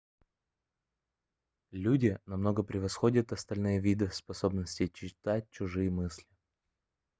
люди намного превосходят остальные виды в способности читать чужие мысли